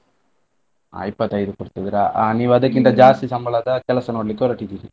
ಇಪ್ಪತೈದು ಕೊಡ್ತಾ ಇದ್ರಾ ನೀವ್ ಅದಕ್ಕಿಂತ ಜಾಸ್ತಿ ಸಂಬಳದ ಕೆಲಸ ನೋಡ್ಲಿಕ್ಕೆ ಹೊರಟಿದ್ದೀರಿ.